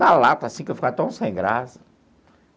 Na lata, assim que eu ficava tão sem graça.